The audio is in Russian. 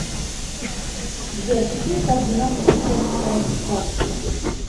сбер какие координаты у хеттское царство